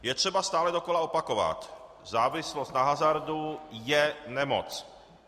Je třeba stále dokola opakovat: závislost na hazardu je nemoc.